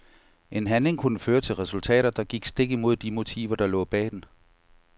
En handling kunne føre til resultater, der gik stik imod de motiver der lå bag den.